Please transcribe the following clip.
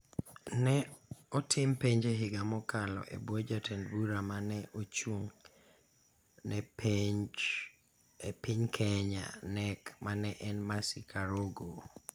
Ne otim penj e higa mokalo e bwo jatend bura ma ne ochung� ne penj e piny Kenya (KNEC) ma ne en Mercy Karogo.